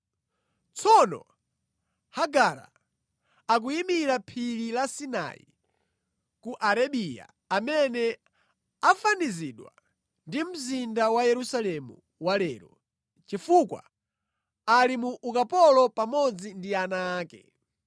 Tsono Hagara, akuyimira Phiri la Sinai ku Arabiya amene afanizidwa ndi mzinda wa Yerusalemu wa lero, chifukwa ali mu ukapolo pamodzi ndi ana ake.